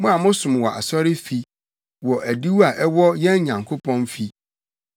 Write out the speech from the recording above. mo a mosom wɔ Awurade fi, wɔ adiwo a ɛwɔ yɛn Nyankopɔn fi.